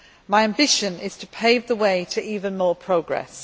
My ambition is to pave the way to even more progress.